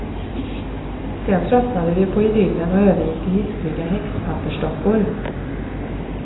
Sen tröttnade vi på idyllen och övergick till hiskliga häxpappersdockor.